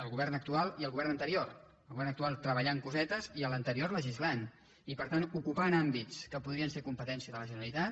el govern actual i el govern anterior el govern actual treballant cosetes i l’anterior legis·lant i per tant ocupant àmbits que podrien ser com·petència de la generalitat